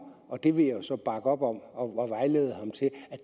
og det vil jeg så bakke op om og